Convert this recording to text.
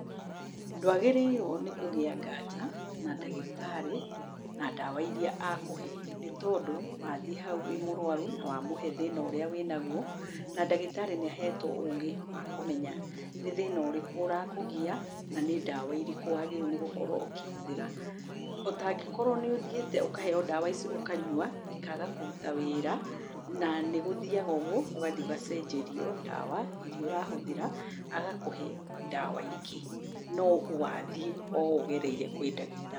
Ndwagĩrĩrwo nĩkũgia nganja na ndagĩtarĩ na ndawa iria akũhe nĩ tondũ wathiĩ hau wĩ mũrwaru na wamũhe thĩna ũria wĩnaguo na ndagĩtari nĩahetwo ũgĩ wa kũmenya nĩ thĩna ũrĩkũ ũrakũgia, na nĩ ndawa irĩkũ wagĩrĩirwo nĩgũkorwo ũkĩhũthĩra, ũtangĩkorwo nĩũthĩite ũkaheo ndawa ici ũkanywa ikaga kũruta wĩra na nĩgũthĩaga ũguo, ũgathiĩ ũgacenjerio ndawa iria ũrahũthĩra, agakũhe ndawa ingĩ, no wathiĩ o ũgereire kwĩ ndagĩta.